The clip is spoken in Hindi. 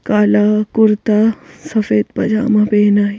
काला कुर्ता सफेद पजामा पहना है--.